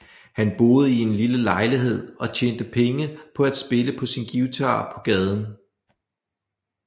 Han boede i en lille lejlighed og tjente penge på at spille på sin guitar på gaden